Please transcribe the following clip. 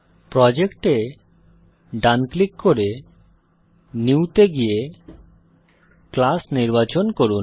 project এ ডান click করে নিউ তে গিয়ে ক্লাস নির্বাচন করুন